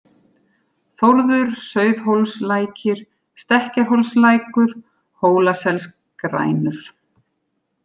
Þórður, Sauðhólslækir, Stekkjarhólslækur, Hólaselsgrænur